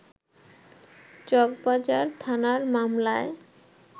চকবাজার থানার মামলায়